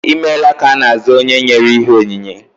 Ịmela ka ana aza onye nyere ihe onyinye